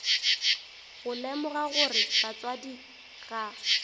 go lemoga gore batswadi ga